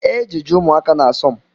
Ejeje ụmụaka na-asom